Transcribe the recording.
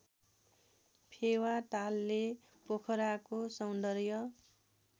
फेवातालले पोखराको सौन्दर्य